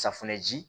Safunɛ ji